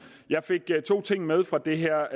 jeg fik to ting med fra det her